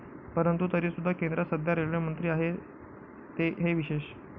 परंतु तरी सुद्धा केंद्रात सध्या रेल्वेमंत्री आहेत हे विशेष